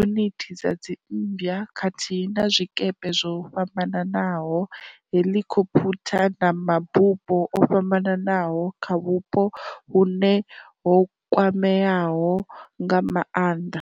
unithi dza dzimmbwa khathihi na zwikepe zwo fhambanaho, heḽikhophutha na mabufho o fhambanaho kha vhupo vhune ho kwameaho nga maanḓa.